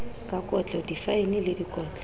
ka kotlo difaene le dikotlo